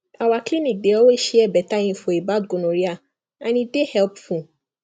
our clinic dey always share better info about gonorrhea and e dey helpful